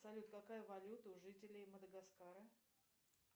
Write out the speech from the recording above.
салют какая валюта у жителей мадагаскара